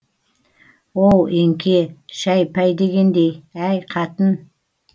оу еңке шәй пәй дегендей әй қатын